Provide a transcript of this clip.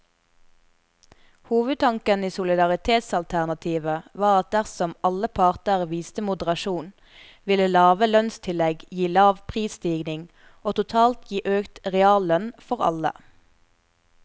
Hovedtanken i solidaritetsalternativet var at dersom alle parter viste moderasjon, ville lave lønnstillegg gi lav prisstigning og totalt gi økt reallønn for alle.